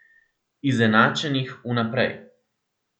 Izenačenih vnaprej.